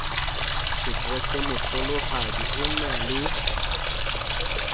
sekreste mohlolohadi o na le